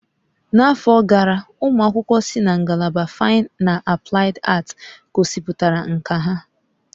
N'afọ gara, ụmụ akwụkwọ si na ngalaba Faịn na Aplaịd Aat gosipụtara nkà ha.